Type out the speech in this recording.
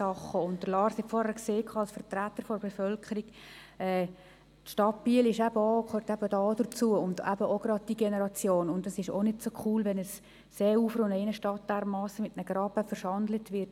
Es ist nicht so cool, wenn ein Seeufer und eine Innenstadt dermassen mit einem Graben verschandelt werden.